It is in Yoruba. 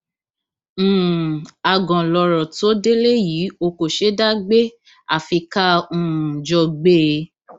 um àgàn lọrọ tó délé yìí ò kò ṣeé dá gbé àfi ká um jọ gbé e